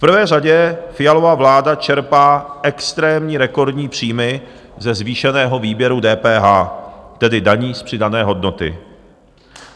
V prvé řadě Fialova vláda čerpá extrémní, rekordní příjmy ze zvýšeného výběru DPH, tedy daně z přidané hodnoty.